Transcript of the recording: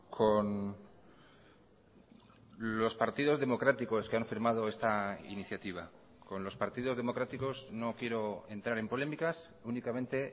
con los partidos democráticos que han firmado esta iniciativa con los partidos democráticos no quiero entrar en polémicas únicamente